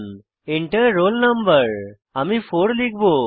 Enter roll no আমি 4 লিখব